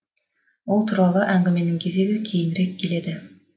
ол туралы әңгіменің кезегі кейінірек келеді